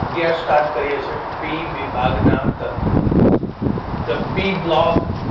અગિયાર સ્ટાર્ટ કરીએ છીએ પી વિભાગના તત્વો ધ પી બ્લોક